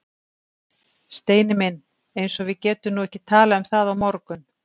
Steini minn. eins og við getum nú ekki talað um það á morgun!